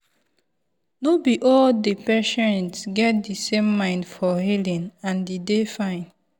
no be all the patient get the same mind for healing and e dey fine.